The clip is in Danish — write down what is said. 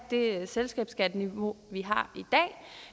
det selskabsskatteniveau vi har